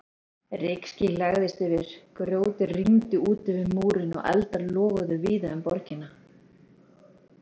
Rykský lagðist yfir, grjóti rigndi út yfir múrinn og eldar loguðu víða um borgina.